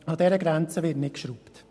An dieser Grenze wird nicht geschraubt.